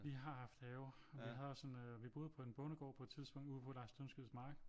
Vi har haft have og vi havde også en øh vi boede på en bondegård på et tidspunkt ude på Lars Tyndskids mark